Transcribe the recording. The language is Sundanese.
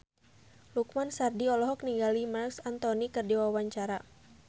Lukman Sardi olohok ningali Marc Anthony keur diwawancara